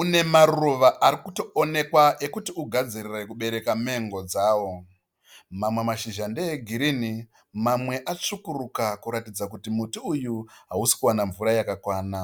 une maruva arikutoonekwa ekuti ugadzirire kubereka mengo dzawo. Mamwe mashizha ndeegirini mamwe atsvukuruka kuratidza kuti muti uyu hausi kuwana mvura yakakwana.